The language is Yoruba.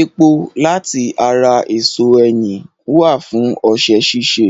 Epo láti ara èso ẹyìn wà fún ọṣẹ ṣíṣe,